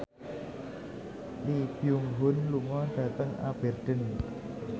Lee Byung Hun lunga dhateng Aberdeen